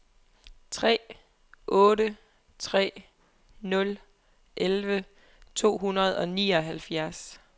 tre otte tre nul elleve to hundrede og nioghalvfjerds